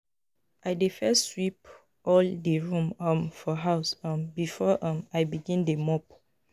I dey first sweep all di room um for house um before um I begin dey mop.